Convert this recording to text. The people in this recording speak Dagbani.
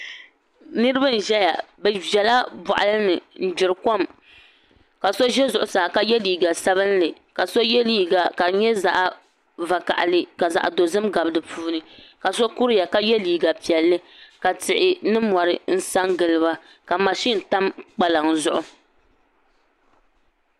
Niraba n ʒɛya bi ʒɛla boɣali ni n gbiri kom ka so ʒɛ zuɣusaa ka yɛ liiga sabinli ka so yɛ liiga ka di nyɛ zaɣ vakaɣali ka zaɣ dozim gabi di puuni ka so kuriya ka yɛ liiga piɛlli ka tihi ni mori n sa giliba ka mashin tam kpalaŋ zuɣu